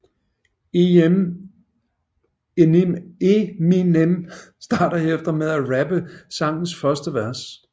Eminem starter herefter med at rappe sangens første vers